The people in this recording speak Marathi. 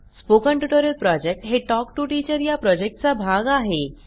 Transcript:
स्पोकन ट्युटोरियल प्रॉजेक्ट हे टॉक टू टीचर या प्रॉजेक्टचा भाग आहे